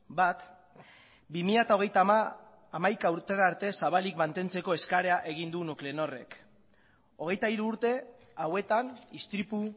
bat bi mila hogeita hamaika urtera arte zabalik mantentzeko eskaria egin du nuklenorrek hogeita hiru urte hauetan istripu